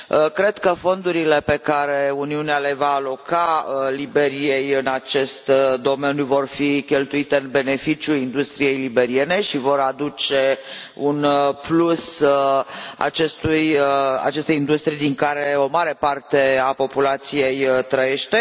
Cred că fondurile pe care Uniunea le va aloca Liberiei în acest domeniu vor fi cheltuite în beneficiul industriei liberiene și vor aduce un plus acestei industrii din care o mare parte a populației trăiește.